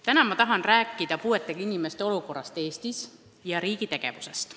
Täna ma tahan rääkida puuetega inimeste olukorrast Eestis ja riigi tegevusest.